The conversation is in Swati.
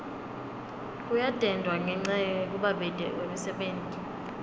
kuyadendwa ngenca yekubabete kwemisebenti